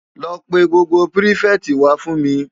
Lò pè gbógbó pirifèti wá fún mi